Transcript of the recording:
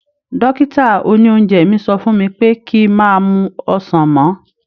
Dókítà òní oúnjẹ mi sọ fún mi pé ki má mu ọsàn mọ́